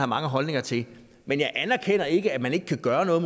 mange holdninger til men jeg anerkender ikke at man ikke kan gøre noget